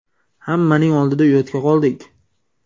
Hammaning oldida uyatga qoldik.